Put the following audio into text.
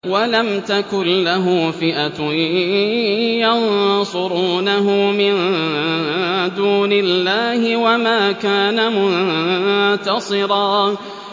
وَلَمْ تَكُن لَّهُ فِئَةٌ يَنصُرُونَهُ مِن دُونِ اللَّهِ وَمَا كَانَ مُنتَصِرًا